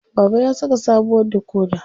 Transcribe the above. Baba ya saka sabuwar dikoda.